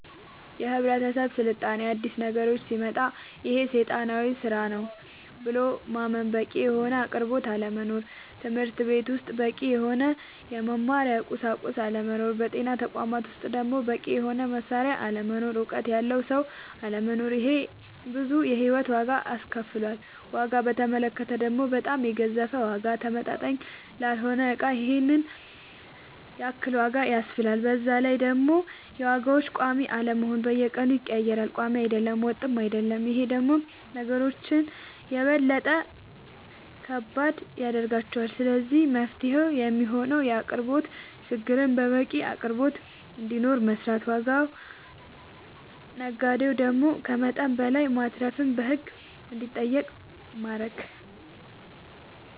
የህብረተሰብ ስልጣኔ አዲስ ነገሮች ሲመጣ ይሄ ሴጣናዊ ስራ ነው ብሎ ማመን በቂ የሆነ አቅርቦት አለመኖር ትምህርትቤት ውስጥ በቂ የሆነ የመማሪያ ቁሳቁስ አለመኖር በጤና ተቋማት ውስጥ ደሞ በቂ የሆነ መሳሪያ አለመኖር እውቀት ያለው ሰው አለመኖር ይሄ ብዙ የሂወት ዋጋ አስከፍሎል ዋጋ በተመለከተ ደሞ በጣም የገዘፈ ዋጋ ተመጣጣኝ ላልሆነ እቃ ይሄንን ያክል ዋጋ ያስብላል በዛላይ ደሞ የዋጋዎች ቆሚ አለመሆን በየቀኑ ይቀያየራል ቆሚ አይደለም ወጥም አይሆንም ይሄ ደሞ ነገሮች የበለጠ ከባድ ያደርገዋል ስለዚህ መፍትሄው የሚሆነው የአቅርቦት ችግርን በቂ አቅርቦት እንዲኖር መስራት ዋጋ ነጋዴው ደሞ ከመጠን በላይ ማትረፍን በህግ እንዲጠየቅ ማረግ